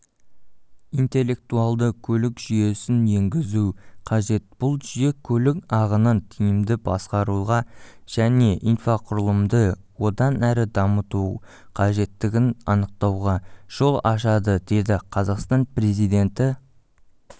интеллектуалды көлік жүйесіненгізу қажет бұл жүйе көлік ағынын тиімді басқаруға жәнеинфрақұрылымды одан әрі дамытуқажеттігін анықтауға жол ашады деді қазақстан президенті